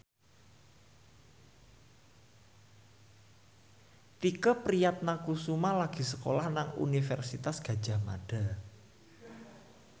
Tike Priatnakusuma lagi sekolah nang Universitas Gadjah Mada